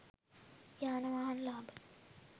යාන වාහන ලාභ